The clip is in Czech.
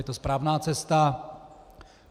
Je to správná cesta.